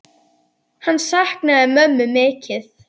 Hann saknaði mömmu mikið.